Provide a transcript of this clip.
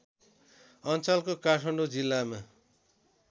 अञ्चलको काठमाडौँ जिल्लामा